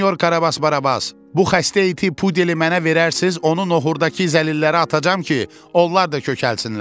Sinyor Karabas Barabas, bu xəstə iti, pudeli mənə verərsiz, onun noxurdakı zəlilərə atacağam ki, onlar da kökəlsinlər.